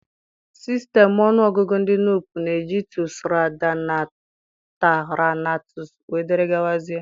Sistemu ọnụọgụgụ ndi Nupe na-eji tsu, ra, da, na, ta, ra na tsu, wdg.